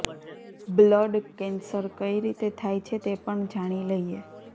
blood cancer કઈ રીતે થાય છે તે પણ જાણી લઈએ